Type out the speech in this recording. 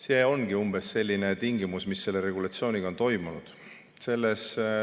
See ongi umbes selline asi, mis selle regulatsiooniga on toimunud.